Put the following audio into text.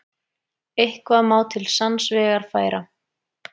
Eitthvað má til sanns vegar færa